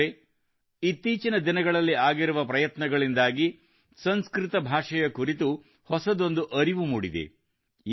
ಸ್ನೇಹಿತರೇ ಇತ್ತೀಚಿನ ದಿನಗಳಲ್ಲಿ ಆಗಿರುವ ಪ್ರಯತ್ನಗಳಿಂದಾಗಿ ಸಂಸ್ಕೃತ ಭಾಷೆಯ ಕುರಿತು ಹೊಸದೊಂದು ಅರಿವು ಮೂಡಿದೆ